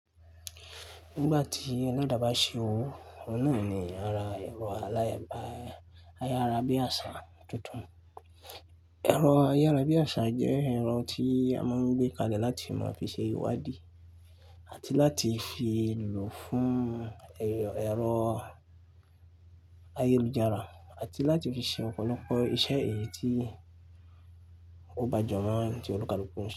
Nígbà tí aládàbà ṣe òwò, ọ̀nà náà ni ara ẹ̀rọ aláyàrábí àṣà tuntun. Ẹ̀rọ ayárábíàṣà jẹ́ ẹ̀rọ tí a máa ń gbé kalẹ̀ láti máa fi ṣe ìwádìí àti láti fi lùlù fún ẹ̀rọ ayélujára àti láti fi ṣe ọ̀pọ̀lọpọ̀ iṣẹ́ èyí tí ó gbajúmọ̀ tí olùkàlùkù ń ṣe.